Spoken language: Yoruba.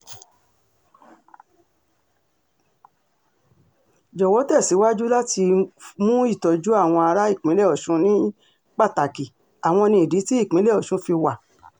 jọ̀wọ́ tẹ̀síwájú láti mú ìtọ́jú àwọn ará ìpínlẹ̀ ọ̀sùn ní pàtàkì àwọn ni ìdí tí ìpínlẹ̀ ọ̀sùn fi wà